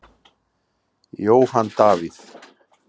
Jóhann Davíð.